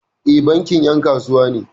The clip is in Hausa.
E, bankin 'yan kasuwa ne.